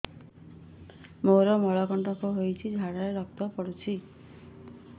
ମୋରୋ ମଳକଣ୍ଟକ ହେଇଚି ଝାଡ଼ାରେ ରକ୍ତ ପଡୁଛି